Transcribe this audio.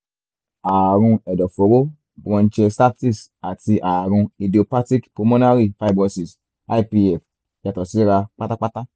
ààrùn ẹ̀dọ̀fóró bronchiectasis àti ààrùn idiopathic pulmonary fibrosis ipf yàtọ̀ síra pátápátá